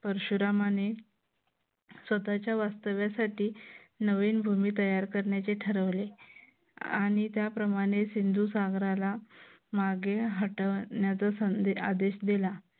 परशुरामाने स्वतःच्या वास्तव्यासाठी नवीन भूमी तयार करण्याचे ठरविले आणि त्याप्रमाणे सिंधू सागराला मागे हटवण्याचा आदेश दिला